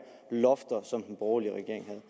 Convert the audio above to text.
lofter som den borgerlige regering